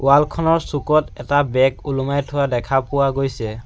Wall খনৰ চুকত এটা বেগ ওলমাই থোৱা দেখা পোৱা গৈছে।